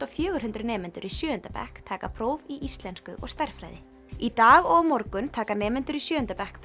og fjögurhundruð nemendur í sjöunda bekk taka próf í íslensku og stærðfræði í dag og á morgun taka nemendur í sjöunda bekk